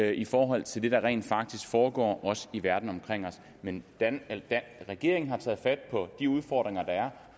i forhold til det der rent faktisk foregår også i verden omkring os men regeringen har taget fat på de udfordringer der er